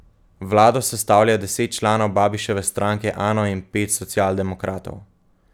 Vlado sestavlja deset članov Babiševe stranke Ano in pet socialdemokratov.